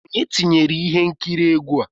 Onye tinyere ihe nkiri egwu a?